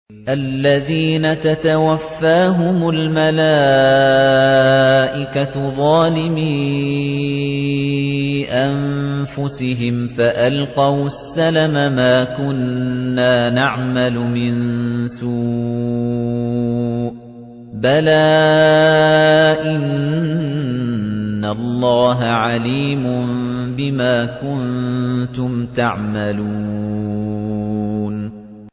الَّذِينَ تَتَوَفَّاهُمُ الْمَلَائِكَةُ ظَالِمِي أَنفُسِهِمْ ۖ فَأَلْقَوُا السَّلَمَ مَا كُنَّا نَعْمَلُ مِن سُوءٍ ۚ بَلَىٰ إِنَّ اللَّهَ عَلِيمٌ بِمَا كُنتُمْ تَعْمَلُونَ